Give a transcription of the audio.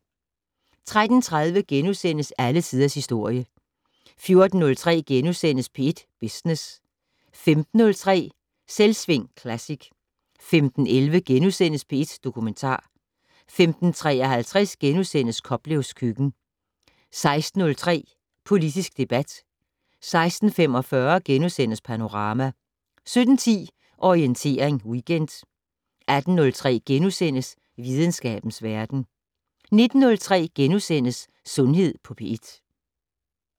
13:30: Alle tiders historie * 14:03: P1 Business * 15:03: Selvsving Classic 15:11: P1 Dokumentar * 15:53: Koplevs køkken * 16:03: Politisk debat 16:45: Panorama * 17:10: Orientering Weekend 18:03: Videnskabens verden * 19:03: Sundhed på P1 *